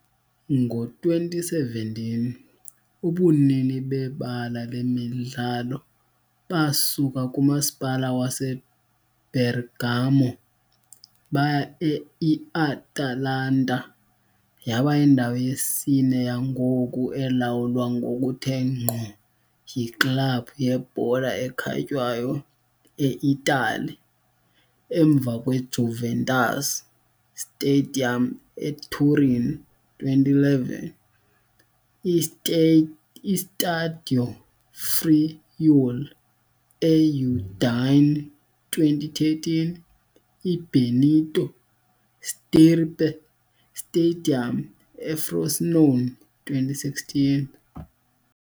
Ngo-2017, ubunini bebala lemidlalo basuka kuMasipala waseBergamo baya e-IAtalanta, yaba yindawo yesine yangoku elawulwa ngokuthe ngqo yiklabhu yebhola ekhatywayo e-Itali, emva kweJuventus Stadium eTurin, 2011, iStadio Friuli eUdine, 2013, I- Benito Stirpe Stadium eFrosinone, 2016.